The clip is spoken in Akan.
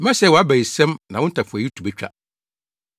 Mɛsɛe wʼabayisɛm na wo ntafowayi to betwa.